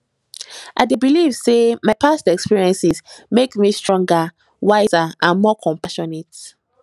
i dey believe say my past experiences make me stronger wiser and more compassionate